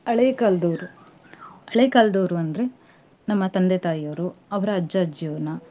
ಹಳೆ ಕಾಲದವ್ರು ಹಳೆ ಕಾಲದವ್ರು ಅಂದ್ರೆ ನಮ್ಮ ತಂದೆ ತಾಯಿಯವರು. ಅವರ ಅಜ್ಜ, ಅಜ್ಜಿಯವರನ್ನ.